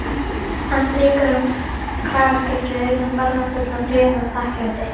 Hann strýkur um kragaskeggið, augun barmafull af gleði og þakklæti.